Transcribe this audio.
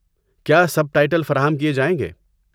کیا سب ٹائٹل فراہم کیے جائیں گے؟